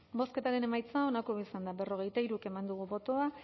bozketaren emaitza onako izan da hirurogeita hamabost eman dugu bozka